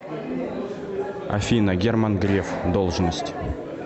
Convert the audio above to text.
афина герман греф должность